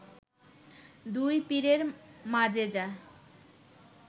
দুই পীরের মাজেজা